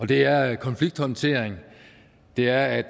det er konflikthåndtering det er